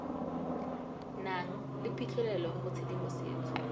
nang le phitlhelelo go tshedimosetso